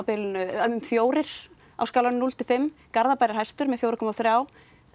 fjóra á skalanum núll til fimm Garðabær er hæstur með fjóra komma þrjú